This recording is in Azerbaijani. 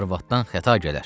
Arvaddan xəta gələr.